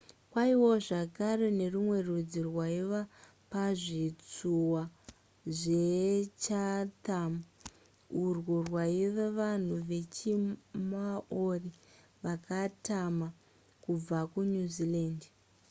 kwaivawo zvakare nerumwe rudzi rwaiva pazvitsuwa zvechatham urwo rwaiva vanhu vechimaori vakatama kubva kunew zealand